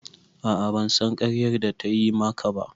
A'a ban san ƙaryar da ta yi ma ka ba